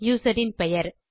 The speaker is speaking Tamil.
யூசர் இன் பெயர்